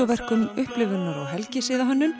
vídeóverkum helgisiða og